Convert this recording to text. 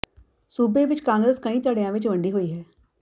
ਸੂਬੇ ਵਿੱਚ ਕਾਂਗਰਸ ਕਈ ਧੜਿਆਂ ਵਿੱਚ ਵੰਡੀ ਹੋਈ ਹੈ